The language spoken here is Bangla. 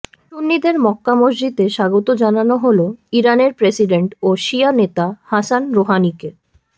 সুন্নিদের মক্কা মসজিদে স্বাগত জানানো হলো ইরানের প্রেসিডেন্ট ও শিয়া নেতা হাসান রোহানিকে